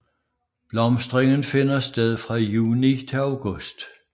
Blomstringen finder sted fra juni til august